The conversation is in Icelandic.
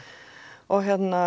og